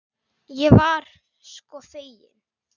Ég var sko fegin!